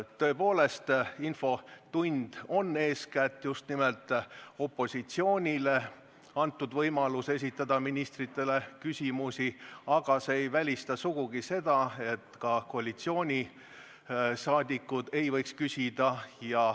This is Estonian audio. Tõepoolest, infotund on eeskätt opositsioonile antud võimalus esitada ministritele küsimusi, aga see ei välista sugugi seda, et ka koalitsiooniliikmed ei võiks küsida.